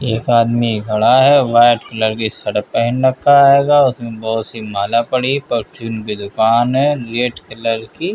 एक आदमी खड़ा है। व्हाइट कलर की शर्ट पहन रखा है। उसमे बहोत सी माला पड़ी है। परचून की दुकान है। रेड कलर की --